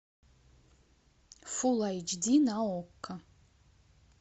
фул айч ди на окко